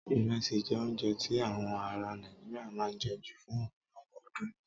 Irẹsi jẹ́ oúnjẹ tí awọn aráa Nàìjíríà máa ń jẹ ju fún ọ̀pọ̀lọpọ̀ ọdún.